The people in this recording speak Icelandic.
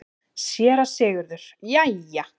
SÉRA SIGURÐUR: Jæja!